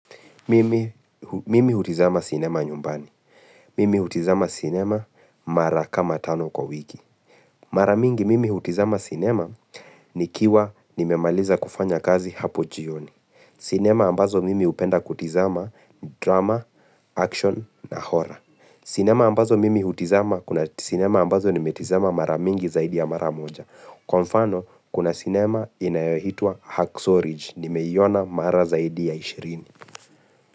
Mimi hutizama sinema nyumbani. Mimi hutizama sinema mara kama tano kwa wiki. Mara mingi mimi hutizama sinema nikiwa nimemaliza kufanya kazi hapo jioni. Sinema ambazo mimi hupenda kutizama drama, action na horror. Sinema ambazo mimi hutizama kuna sinema ambazo nimetizama mara mingi zaidi ya mara moja. Kwa mfano kuna sinema inayoitwa Hacksorage. Nimeiona mara zaidi ya ishirini.